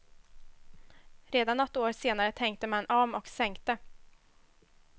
Redan något år senare tänkte man om och sänkte.